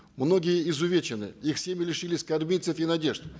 многие изувечены их семьи лишились кормильцев и надежд